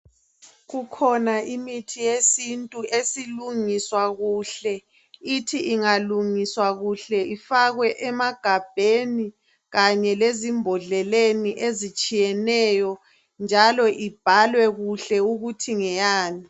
Kukhona imithi yesintu esilungiswa kuhle ithi ingalungiswa kuhle ifakwe emagabheni kanye lezimbodleleni ezitshiyeneyo njalo ibhalwe kuhle ukuthi ngeyani.